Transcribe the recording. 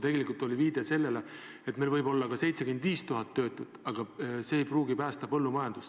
See oli viide sellele, et meil võib olla ka 75 000 töötut, aga see ei pruugi päästa põllumajandust.